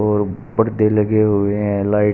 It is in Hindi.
और पर्दे लगे हुए हैं लाइट --